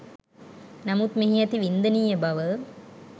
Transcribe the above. නමුත් මෙහි ඇති වින්දනීය බව